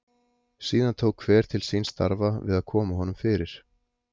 Síðan tók hver til síns starfa við að koma honum fyrir.